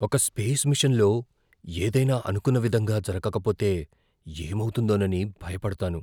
ఒక స్పేస్ మిషన్లో ఏదైనా అనుకున్న విధంగా జరగకపోతే ఏమవుతుందోనని భయపడతాను.